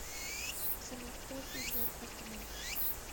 салют кто артист джон остерман